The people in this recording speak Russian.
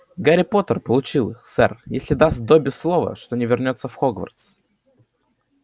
гарри поттер получил их сэр если даст добби слово что не вернётся в хогвартс